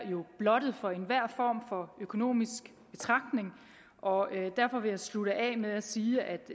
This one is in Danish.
blottet for enhver form for økonomisk betragtning og derfor vil jeg slutte af med at sige at